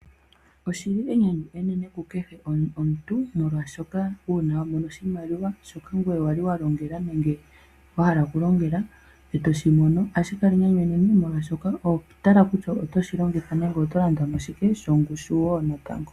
Oshili enyanyu enene ku kehe omuntu molwaashoka uuna wamono oshimaliwa shoka ngoye wali walongela nenge wa hala okulongela. Uuna weshimono ohashi kala enyanyu enene molwaashoka oho tala kutya oto shilongitha shike nenge oto landamo shike shongushu woo natango.